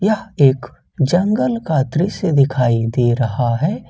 एक जंगल का दृश्य दिखाई दे रहा है।